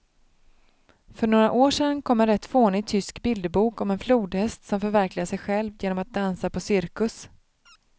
För några år sedan kom en rätt fånig tysk bilderbok om en flodhäst som förverkligar sig själv genom att dansa på cirkus.